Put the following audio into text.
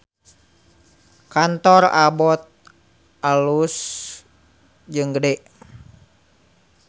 Kantor Abbot alus jeung gede